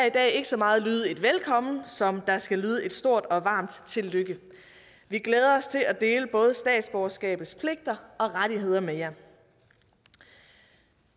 i dag ikke så meget lyde et velkommen som der skal lyde et stort og varmt tillykke vi glæder os til at dele både statsborgerskabets pligter og rettigheder med jer